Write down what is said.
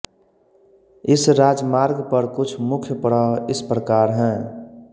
इस राजमार्ग पर कुछ मुख्य पड़ाव इस प्रकार हैं